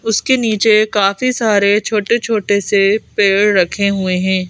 उसके नीचे काफी सारे छोटे छोटे से पेड़ रखे हुए हैं।